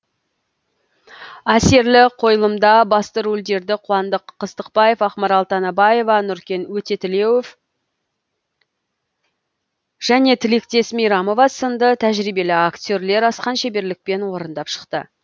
әсерлі қойылымда басты рөлдерді қуандық қыстықбаев ақмарал танабаева нұркен өтетулеов және тілектес мейрамов сынды тәжірибелі актерлер асқан шеберлікпен орындап шықты